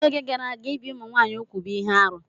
N'oge gara aga, ibi ụmụ nwanyị úgwù bụ ihe arụ.